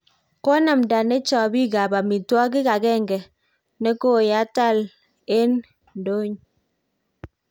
Konamta nechapik ap amitwaking akeng nekoyatal eng ndoyn